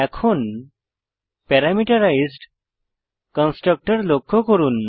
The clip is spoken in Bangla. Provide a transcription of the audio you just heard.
এখন প্যারামিটারাইজড কনস্ট্রাক্টর লক্ষ্য করুন